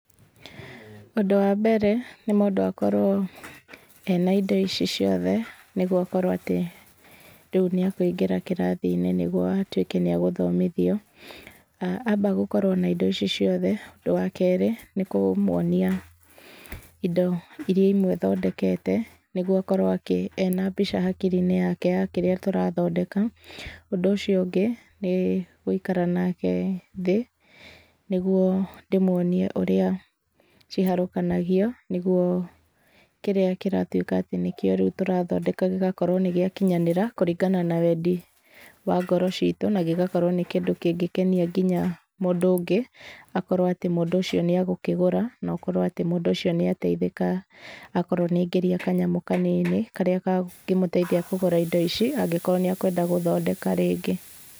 Ũndũ wa mbere, nĩ mũndũ akorwo ena indo ici ciothe, nĩguo akorwo atĩ rĩu nĩ akũingĩra kĩrathi-inĩ nĩguo atuĩke nĩ agũthomithio. Amba gũkorwo na indo ici ciothe, ũndũ wa keerĩ, nĩ kũmũonia indo irĩa imwe athondekete, nĩguo akorwo ena mbica hakiri-inĩ yake ya kĩrĩa tũrathondeka. Ũndũ ũcio ũngĩ, nĩ gũikara nake thĩ, nĩguo rĩmwe nĩ ũrĩa ciharũkanagio, nĩguo kĩrĩa kĩratuĩka atĩ nĩ kĩo rĩu tũrathondeka gĩgakorwo nĩ gĩakinyanĩra, kũringana na wendi wa ngoro ciitũ, na gĩgakorwo nĩ kĩndũ kĩngĩkenia nginya mũndũ ũngĩ, akorwo atĩ mũndũ ũcio nĩ agũkĩgũra, na ũkorwo atĩ mũndũ ũcio nĩ ateithĩka, akorwo nĩ aingĩria kanyamũ kanini, karĩa kangĩmũteithia kũgũra indo ici, angĩkorwo nĩ akũenda gũthondeka rĩngĩ.